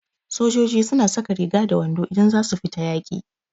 Sojoiji su na saka riga da wando idan za su fita yaƙi